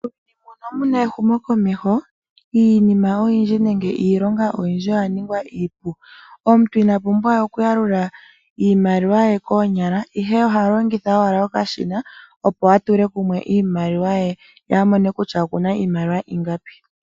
Muuyuni muno muna ehumokomeho iinima oyindji nenge iilonga oyindji oya ningwa iipu. Omuntu inapumbwa we okuyalula iimaliwa ye koonyala ihe ohalongitha owala okashina opo atule kumwe iimaliwa ye, ye a mone kutya okuna iimaliwa ingapi.